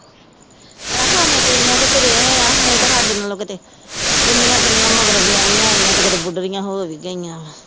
ਭੈਣਾਂ ਖਾਣੇ ਪੀਣੇ ਆ ਤੇ ਤੁਰੇ ਆ ਨਹੀਂ ਤਾ ਹਾਡੇ ਨਾਲੋਂ ਕਿਤੇ ਕਿੰਨੀਆਂ ਕਿੰਨੀਆਂ ਮਗਰ ਵਿਆਹੀਆਂ ਆਈਆਂ ਤੇ ਕਿਤੇ ਬੁਡਰੀਆਂ ਹੋ ਵੀ ਗਈਆਂ ਵਾ।